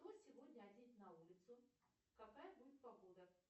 что сегодня одеть на улицу какая будет погода